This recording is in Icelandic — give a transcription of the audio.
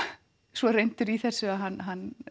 svo reyndur í þessu að hann hann